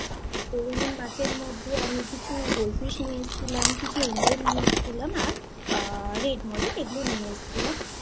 কত রকমের সব রঙিন মাছ । তো রঙিন মাছের মধ্যে আমি কিছু goldfish নিয়ে এসছিলাম। কিছু angle নিয়ে এসছিলাম। আর red molly এগুলো নিয়ে এসেছিলাম তো আবার